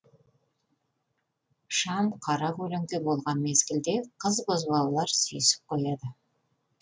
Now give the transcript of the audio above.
шам қара көлеңке болған мезгілде қыз бозбалалар сүйісіп қояды